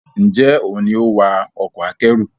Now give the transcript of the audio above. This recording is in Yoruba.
Njé òún ní o wá Ọkọ̀ akẹ́rù?